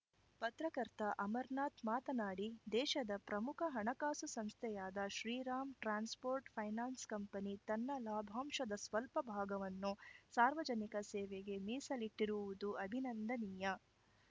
ಪತ್ರಕರ್ತ ಅಮರನಾಥ್‌ ಮಾತನಾಡಿ ದೇಶದ ಪ್ರಮುಖ ಹಣಕಾಸು ಸಂಸ್ಥೆಯಾದ ಶ್ರೀರಾಮ್‌ ಟ್ರಾನ್ಸ್‌ಪೋರ್ಟ್‌ ಫೈನಾನ್ಸ್‌ ಕಂಪನಿ ತನ್ನ ಲಾಭಾಂಶದ ಸ್ವಲ್ಪ ಭಾಗವನ್ನು ಸಾರ್ವಜನಿಕ ಸೇವೆಗೆ ಮೀಸಲಿಟ್ಟಿರುವುದು ಅಭಿನಂದನೀಯ